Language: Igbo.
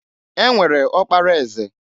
E nwere ọkpara eze.